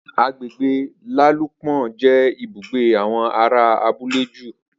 Agbègbè Lálúpon jé ibùgbé awọn ará abúlé ju